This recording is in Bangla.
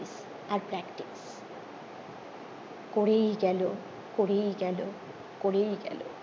আর practice করেই গেলো করেই গেলো করেই গেলো